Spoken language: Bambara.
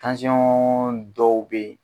Tansyɔn dɔw bɛ yen.